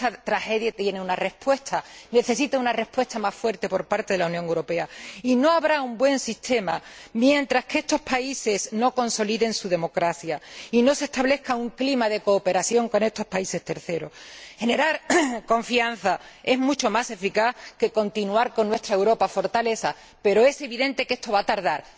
Esta tragedia tiene una respuesta, necesita una respuesta más fuerte por parte de la Unión Europea y no habrá un buen sistema mientras estos países no consoliden su democracia y no se establezca un clima de cooperación con estos terceros países. Generar confianza es mucho más eficaz que continuar con nuestra Europa fortaleza, pero es evidente que esto va a tardar.